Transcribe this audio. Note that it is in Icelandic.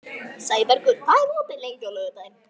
Sæbergur, hvað er opið lengi á laugardaginn?